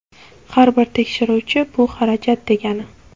Har bir tekshiruvchi bu xarajat degani.